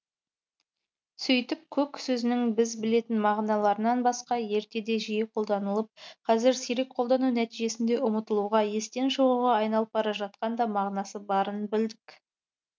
сөйтіп көк сөзінің біз білетін мағыналарынан басқа ертеде жиі қолданылып қазір сирек қолдану нәтижесінде ұмытылуға естен шығуға айналып бара жатқан да мағынасы барын білдік